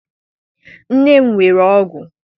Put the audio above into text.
nne m were ọgwụ.